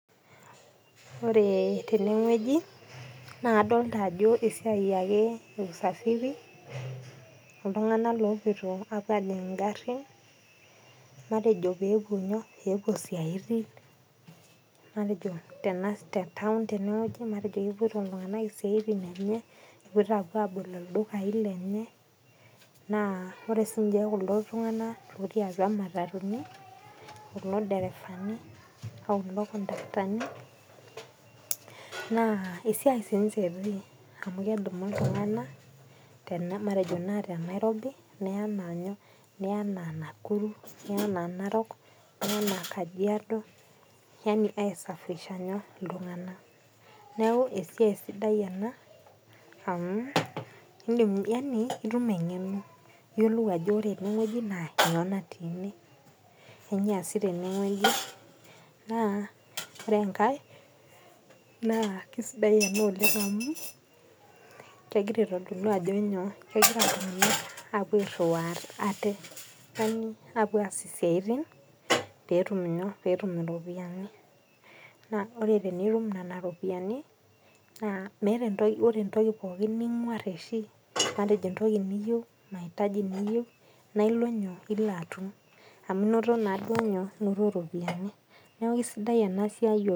Ore tenewueji, na kadolta ajo esiai ake e usafiri, iltung'anak lopoito apuo ajing igarrin, natejo pepuo nyoo, pepuo isiaitin. Matejo tena taon tenewueji, matejo kepoito iltung'anak isiaitin enye, epoito apuo abol ildukai lenye, naa ore sinche kulo tung'anak lotii atua matatuni, kulo derefani, okulo kontaktani, naa esiai sinche etii. Amu kedumu iltung'anak matejo na te Nairobi, neya enaa nyoo, neya enaa Nakuru, neya enaa Narok, neya enaa Kajiado, yani ai safirisha nyoo, iltung'anak. Neeku esiai sidai ena, amu idim yani itum eng'eno. Iyiolou ajo ore enewoi naa nyoo natii ene, kanyioo eesi tenewoi, naa ore enkae, naa kisidai ena oleng amu, kegira aitodolu ajo nyoo, kegira apuo airriwaa ate, yani apuo aas isiaitin petum nyoo, petum iropiyiani. Naa ore tenitum nena ropiyiani, naa meeta ore entoki pookin ning'uar oshi, matejo entoki niyieu, mahitaji niyieu, na ilo nyoo, ilo atum. Amu noto naduo nyoo, noto ropiyiani. Neeku kisidai enasiai oleng.